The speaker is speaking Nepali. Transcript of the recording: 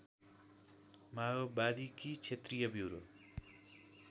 माओवादीकी क्षेत्रीय ब्युरो